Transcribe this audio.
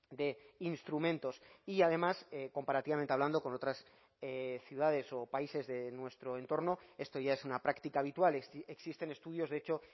de instrumentos y además comparativamente hablando con otras ciudades o países de nuestro entorno esto ya es una práctica habitual existen estudios de hecho